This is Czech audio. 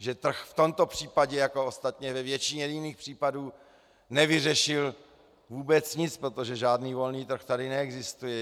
Že trh v tomto případě, jako ostatně ve většině jiných případů, nevyřešil vůbec nic, protože žádný volný trh tady neexistuje.